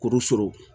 Kuru surun